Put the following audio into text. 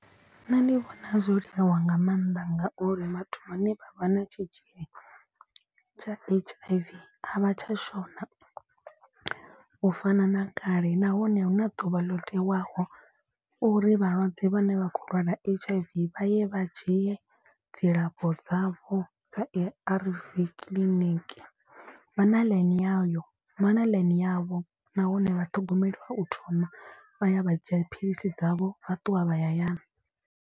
Nṋe ndi vhona zwo leluwa nga maanḓa ngauri vhathu vhane vha vha na tshitzhili tsha H_I_V. A vha tsha shona u fana na kale nahone huna ḓuvha ḽo tewaho uri vhalwadze vhane vha khou lwala H_I_V vha ye vha dzhie dzilafho dzavho dza A_R_V kiḽiniki. Vha na ḽaini yayo vha na ḽaini yavho nahone vha ṱhogomeliwa u thoma vha ya vha dzhia dziphilisi dzavho vha ṱuwa vha ya hayani.